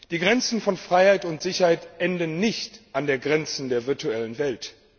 Die Grenzen von Freiheit und Sicherheit enden nicht an den Grenzen der virtuellen Welt.